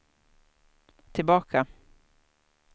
tillbaka